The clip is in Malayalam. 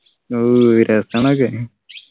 ഓ രസാണ് അതൊക്കെ